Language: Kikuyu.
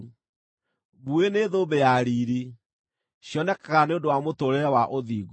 Mbuĩ nĩ thũmbĩ ya riiri; cionekaga nĩ ũndũ wa mũtũũrĩre wa ũthingu.